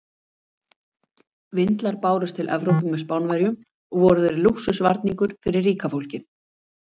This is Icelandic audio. Vindlar bárust til Evrópu með Spánverjum og voru þeir lúxusvarningur fyrir ríka fólkið.